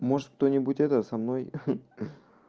может кто-нибудь это со мной